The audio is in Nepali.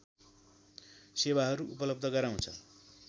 सेवाहरू उपलव्ध गराउँछ